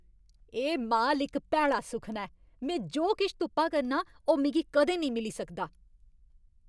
एह् माल इक भैड़ा सुखना ऐ। में जो किश तुप्पा करनां, ओह् मिगी कदें नेईं मिली सकदा।